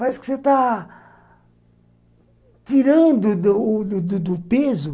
Parece que você está tirando do do do peso.